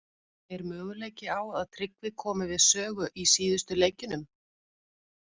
Er möguleiki á að Tryggvi komi við sögu í síðustu leikjunum?